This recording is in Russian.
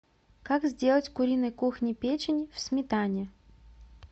как сделать куриной кухни печень в сметане